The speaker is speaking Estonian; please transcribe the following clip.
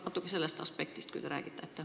Vaat sellest aspektist võib-olla natuke räägite.